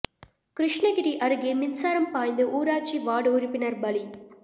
கிருஷ்ணகிரி அருகே மின்சாரம் பாய்ந்து ஊராட்சி வார்டு உறுப்பினர் பலி